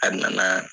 A nana